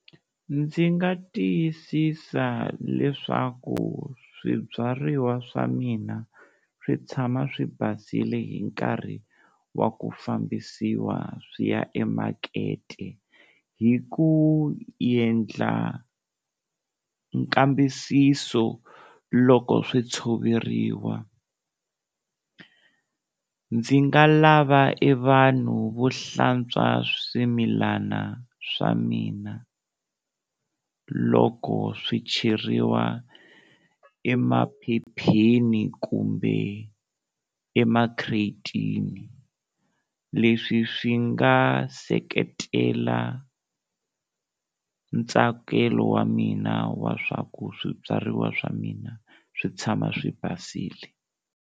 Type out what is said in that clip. Ndzi nga tiyisisa leswaku swibyariwa swa mina swi tshama swi basile hi nkarhi wa ku fambisiwa swi ya emakete hi ku endla nkambisiso loko swi tshoveriwa, ndzi nga lava e vanhu vo hlantswa swimilana swa mina loko swi cheriwa emaphepheni kumbe emakhiretini, leswi swi nga seketela ntsakelo wa mina wa swa ku swibyariwa swa mina swi tshama swi basile.